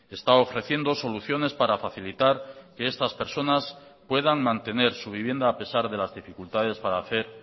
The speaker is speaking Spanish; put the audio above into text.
está ofreciendo soluciones para facilitar que estas personas puedan mantener su vivienda a pesar de las dificultades para hacer